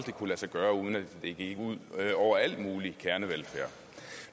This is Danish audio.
kunne lade sig gøre uden at det gik ud over al mulig kernevelfærd